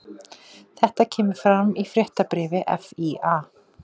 Þetta kemur fram í fréttabréfi FÍA